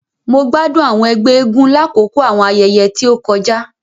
Mo gbádùn àwọn ègbé eégún lakoko àwọn ayẹyẹ ti o kọjá.